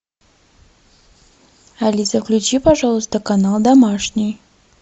алиса включи пожалуйста канал домашний